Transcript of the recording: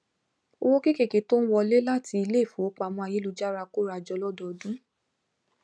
owó kéékèèké tó ń wọlé láti ilé ifowópamọ ayélujára kóra jọ lọdọọdun